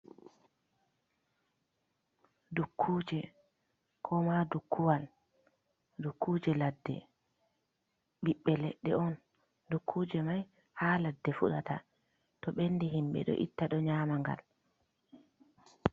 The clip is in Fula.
Dukkuje ko ma dukkuwal dukkuje ladde ɓiɓɓe leɗɗe on, dukkuje mai ha ladde fuɗata to ɓendi himɓɓe ɗo itta ɗo nyama ngal.